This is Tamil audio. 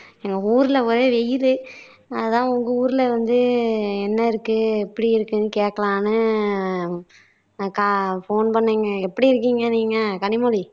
ஊர்ல ஒரே வெயிலு அதான் உங்க ஊர்ல வந்து என்ன இருக்கு எப்படி இருக்குன்னு கேக்கலாம்னு அஹ் கா phone பண்ணேங்க எப்படி இருக்கீங்க நீங்க கனிமொழி